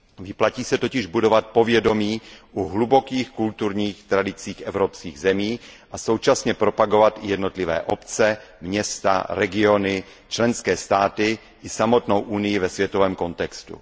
Vyplatí se totiž budovat povědomí o hlubokých kulturních tradicích evropských zemí a současně propagovat jednotlivé obce, města, regiony, členské státy i samotnou Evropskou unii ve světovém kontextu.